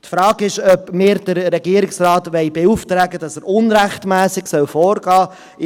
Die Frage ist, ob wir den Regierungsrat beauftragen wollen, dass er unrechtmässig vorgehen soll.